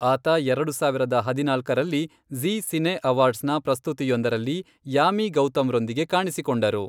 ಆತ ಎರಡು ಸಾವಿರದ ಹದಿನಾಲ್ಕರಲ್ಲಿ ಝೀ ಸಿನೇ ಅವಾರ್ಡ್ಸ್ನ ಪ್ರಸ್ತುತಿಯೊಂದರಲ್ಲಿ ಯಾಮಿ ಗೌತಮ್ರೊಂದಿಗೆ ಕಾಣಿಸಿಕೊಂಡರು.